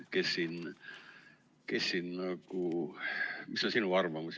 Mis on sinu arvamus?